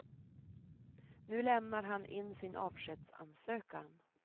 Nu lämnar han in sin avskedsansökan.